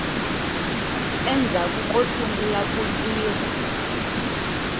endzhaku ko sungula ku tirha